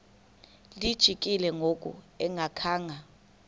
lijikile ngoku engakhanga